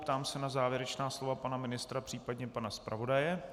Ptám se na závěrečná slova pana ministra, případně pana zpravodaje.